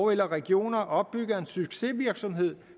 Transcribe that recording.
regioner opbygger en succesvirksomhed